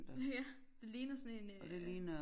Ja det ligner sådan en øh